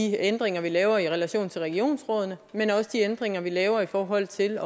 de ændringer vi laver i relation til regionsrådene men også de ændringer vi laver i forhold til